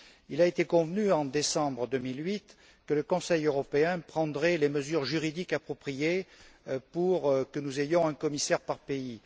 Il a été convenu, en décembre 2008, que le Conseil européen prendrait les mesures juridiques appropriées pour que nous ayons un commissaire par pays.